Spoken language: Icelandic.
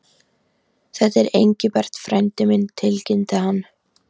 Þetta er Engilbert frændi minn tilkynnti hann.